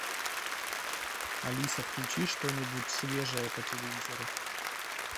алиса включи что нибудь свежее по телевизору